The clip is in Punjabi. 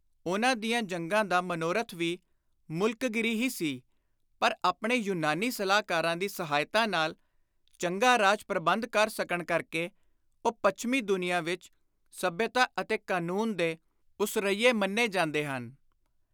ਉਨ੍ਹਾਂ ਦੀਆਂ ਜੰਗਾਂ ਦਾ ਮਨੋਰਥ ਵੀ ਮੁਲਕਗੀਰੀ ਹੀ ਸੀ ਪਰ ਆਪਣੇ ਯੁਨਾਨੀ ਸਲਾਹਕਾਰਾਂ ਦੀ ਸਹਾਇਤਾ ਨਾਲ ਚੰਗਾ ਰਾਜ-ਪ੍ਰਬੰਧ ਕਰ ਸਕਣ ਕਰਕੇ ਉਹ ਪੱਛਮੀ ਦੁਨੀਆਂ ਵਿਚ ਸੱਭਿਅਤਾ ਅਤੇ ਕਾਨੂੰਨ ਦੇ ਉਸਰੱਈਏ ਮੰਨੇ ਜਾਂਦੇ ਹਨ।